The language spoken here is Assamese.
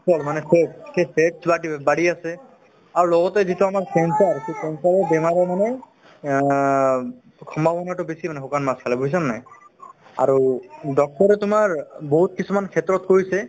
cholesterol মানে fat সেই fats বাঢ়ি আছে আৰু লগতে যিটো আমাৰ cancer সেই cancer ৰৰ বেমাৰৰ মানে অ সম্ভাৱনাতো বেছি মানে শুকান মাছ খালে বুজিছানে নাই আৰু doctor ৰে তোমাৰ বহুত কিছুমান ক্ষেত্ৰত কৈছে